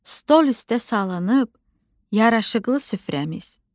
Stol üstə salınıb yaraşıqlı süfrəmiz.